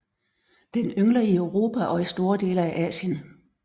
Den yngler i Europa og i store dele af Asien